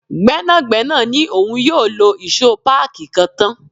Gbẹ́nàgbẹ́nà ni òun yóò lọ ìṣó páàkí kan tán.